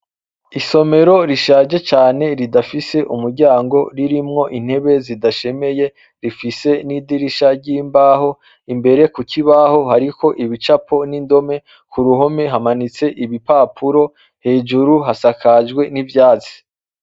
Isomero rishaje cane ridafise umuryango ririmwo intebe zidashemeye rifise n'idirisha ry'imbaho, imbere ku kibaho hariho ibicapo n'indome, ku ruhome hamanitse ibipapuro hejuru hasakajwe n'ivyatsi.